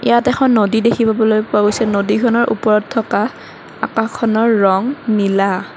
তাত এখন নদী দেখিবলৈ পোৱা গৈছে নদীখনৰ ওপৰত থকা আকাশখনৰ ৰং নীলা।